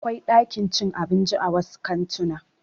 Akwai ɗakin cin abinci a wasu kantuna.